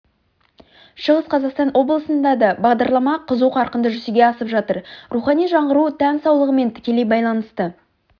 шығыс қазақстан облысында да бағдарлама қызу қарқынды жүзеге асып жатыр рухани жаңғыру тән саулығымен тікелей байланысты